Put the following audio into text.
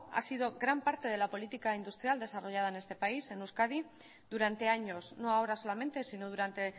ha sido gran parte de la política industrial desarrollada en este país en euskadi durante años no ahora solamente sino durante